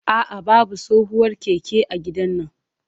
A'a, babu tsohuwar keke a gidannan.